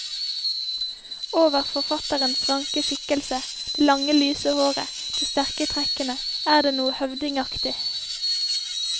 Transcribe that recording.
Over forfatterens ranke skikkelse, det lange lyse håret, de sterke trekkene, er det noe høvdingaktig.